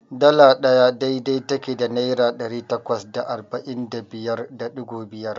Dala ɗaya dai-dai take da Naira ɗari takwas da arba'in da biyar da ɗigo biyar.